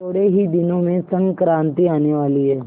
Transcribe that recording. थोड़े ही दिनों में संक्रांति आने वाली है